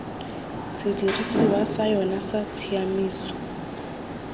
sedirisiwa sa yona sa tshiaimiso